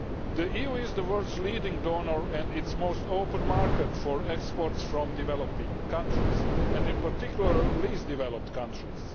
The EU is the world's leading donor and its most open market for exports from developing countries and, in particular, the least developed countries.